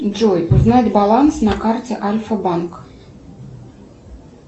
джой узнать баланс на карте альфа банк